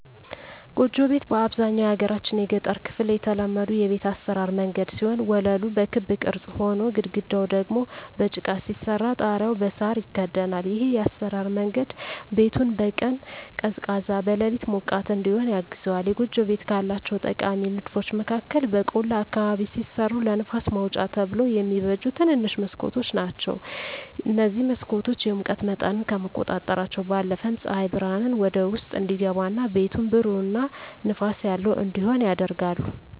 ጎጆ ቤት በአብዛኛው የሀገራችን የገጠር ክፍል የተለመዱ የቤት አሰራር መንገድ ሲሆን ወለሉ በክብ ቅርጽ ሆኖ፣ ግድግዳው ደግሞ በጭቃ ሲሰራ ጣሪያው በሳር ይከደናል። ይህ የአሰራር መንገድ ቤቱን በቀን ቀዝቃዛ፣ በሌሊት ሞቃት እዲሆን ያግዘዋል። የጎጆ ቤቶች ካላቸው ጠቃሚ ንድፎች መካከል በቆላ አካባቢ ሲሰሩ ለንፋስ ማውጫ ተብለው የሚበጁ ትንንሽ መስኮቶች ናቸዉ። እነዚህ መስኮቶች የሙቀት መጠንን ከመቆጣጠራቸው ባለፈም ፀሐይ ብርሃን ወደ ውስጥ እንዲገባ እና ቤቱን ብሩህ እና ንፋስ ያለው እንዲሆን ያደርጋሉ።